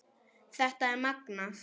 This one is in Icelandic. Þetta er magnað.